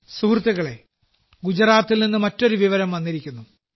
സുഹൃത്തുക്കളേ ഗുജറാത്തിൽ നിന്ന് മറ്റൊരു വിവരം വന്നിരിക്കുന്നു